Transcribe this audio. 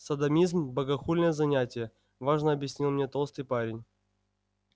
содомизм богохульное занятие важно объяснил мне толстый парень